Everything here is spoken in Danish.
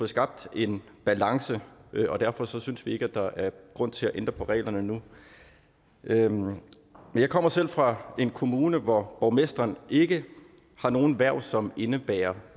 skabt en balance og derfor synes vi ikke at der er grund til at ændre på reglerne nu men jeg kommer selv fra en kommune hvor borgmesteren ikke har nogen hverv som indebærer